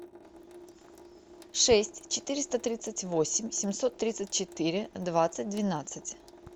шесть четыреста тридцать восемь семьсот тридцать четыре двадцать двенадцать